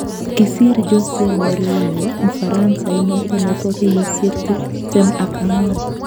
Kisiir Jose Mourinho Mfaransa inoto nebo kenyishek tiptem ak angwan